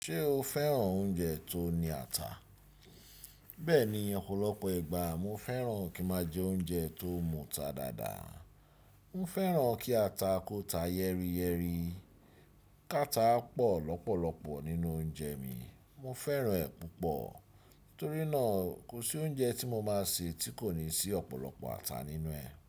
Ṣé o fẹ́ràn oúnjẹ tó ní ata? Bẹ́ẹ̀ni, ọ̀pọ̀lọpọ̀ ìgbà mo fẹ́ràn kí máa jẹ oúnjẹ tó múta dáadáa. Mo fẹ́ràn kí ata kó ta yẹ́rìyẹ́rì, káta pọ̀ lọ́pọ̀lọpọ̀ nínú oúnjẹ mi. Mo fẹ́ràn ẹ̀ púpọ̀, torí náà kò sí oúnjẹ tí mo máa se tí kò ní sí ọ̀pọ̀lọpọ̀ ata nínú ẹ̀.